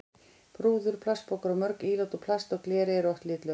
Rúður, plastpokar og mörg ílát úr plasti eða gleri eru oft litlaus.